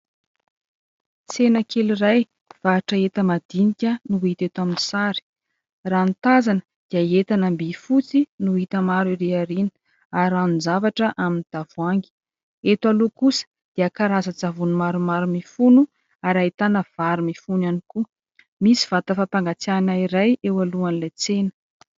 tsena kely iray mivarotra entana madinika no hita eto amin'ny sary raha ny tazana dia entan-bihifotsy no hita maro ireny hariana ary ny zavatra amin'ny tavoangy eto aloha kosa dia karaza tsavono maromaro mifono ary ahitana vary mifono ihany koa misy vatan-fampangatsiana iray eo alohany ilay tsena